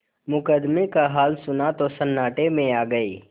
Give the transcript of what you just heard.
मुकदमे का हाल सुना तो सन्नाटे में आ गये